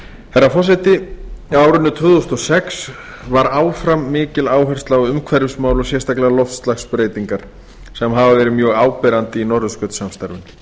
herra forseti á árinu tvö þúsund og sex var áfram mikil áhersla á umhverfismál og sérstaklega loftslagsbreytingar sem hafa verið mjög áberandi í norðurskautssamstarfinu